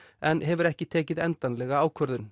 en hefur ekki tekið endanlega ákvörðun